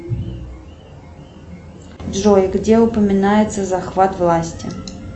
джой где упоминается захват власти